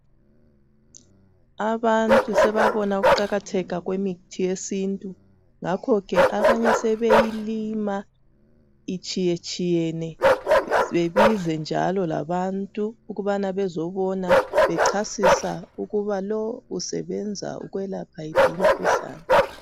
Abantu sebabona ukuqakatheka kwemithi yesintu ngakhoke abanye sebeyilima itshiyetshiyene bebize njalo labantu ukubana bezobona ukubana bechasisa ukuba lo usebenza ukwelapha yiphi imkhuhlane.